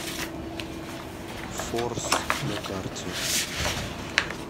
форс на карте